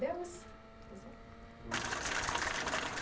Vamos vamos lá.